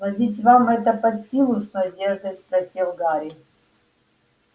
но ведь вам это под силу с надеждой спросил гарри